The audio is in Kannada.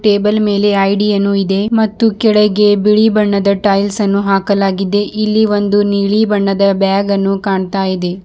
ಟೇಬಲ್ ಮೇಲೆ ಐ_ಡಿ ಯನ್ನು ಇದೆ ಮತ್ತು ಕೆಳಗೆ ಬಿಳಿ ಬಣ್ಣದ ಟೈಲ್ಸ್ ಅನ್ನು ಹಾಕಲಾಗಿದೆ ಇಲ್ಲಿ ಒಂದು ನೀಲಿ ಬಣ್ಣದ ಬ್ಯಾಗನ್ನು ಕಾಣ್ತಾಯಿದೆ.